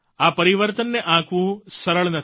આ પરિવર્તનને આંકવું સરળ નથી